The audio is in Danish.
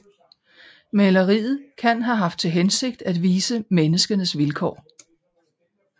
Maleriet kan have haft til hensigt at vise menneskenes vilkår